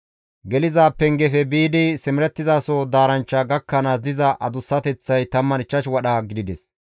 Geliza pengefe biidi simerettizasoza daaranchcha gakkanaas diza adussateththay 15 wadha gidides.